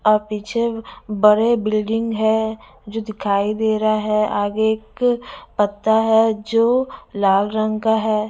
अ पिछे में बड़े बिल्डिंग हैं जो दिखाई दे रहा हैं आगे एक पत्ता हैं जो लाल रंग का हैं।